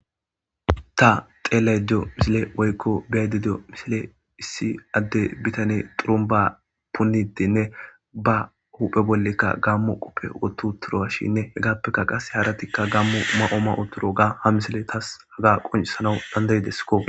Ta xelado misile woykko biyaydedo misile issi adde bitane xurumba puidinne ba huphe bollekka gammu quppe wottu turoa shinne hegappeka qase haratikka gammu ma'ooma u turo ga ha misile taas haga qoncisana dandayideskko.